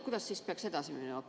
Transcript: Kuidas siis peaks edasi minema?